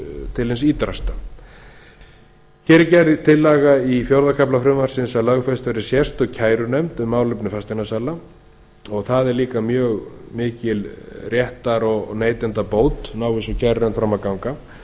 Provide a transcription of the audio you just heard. til hins ýtrasta hér er gerð er tillaga í fjórða kafla frumvarpsins að lögfest verði sérstök kærunefnd um málefni fasteignasala það er líka mjög mikil réttar og neytendabót nái þessi kærunefnd fram að ganga